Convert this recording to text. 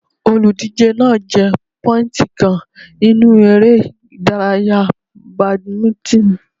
Olùdíje náà jẹ pọ́íìntì kan nínú eré ìdárayá bàdímínítìnì.